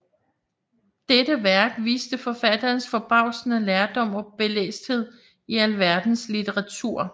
Dette Værk viste forfatterens forbavsende lærdom og belæsthed i alverdens litteraturer